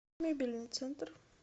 мебельный центр